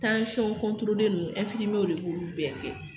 nunnu de b'olu bɛɛ kɛ.